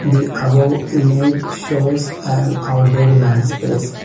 the above image shows an outdoor landspace.